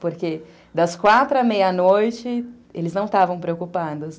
Porque das quatro à meia-noite, eles não estavam preocupados.